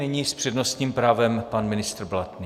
Nyní s přednostním právem pan ministr Blatný.